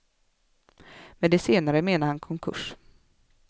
Med det senare menar han konkurs.